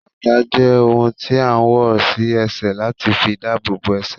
Bàtà jẹ́ ohun tí a ń wọ̀ sí ẹsẹ̀ láti fi dabobo ẹsẹ̀